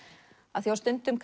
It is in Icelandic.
af því á stundum